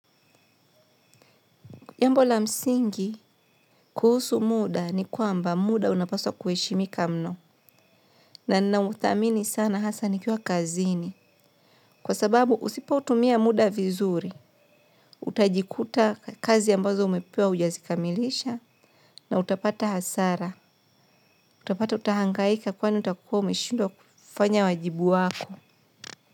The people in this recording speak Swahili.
Jambo la msingi kuhusu muda ni kwamba muda unapaswa kuheshimika mno. Na nina uthamini sana hasa nikiwa kazini. Kwa sababu usipo utumia muda vizuri. Utajikuta kazi ambazo umepewa hujazikamilisha na utapata hasara. Utapata utahangaika kwani utakuwa umeshindwa kufanya wajibu wako.